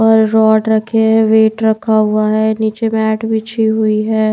और रॉड रखे हैं वेट रखा हुआ है नीचे मैट विछी हुई है।